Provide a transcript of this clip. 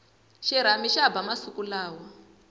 xirhami xa ba masiku lawa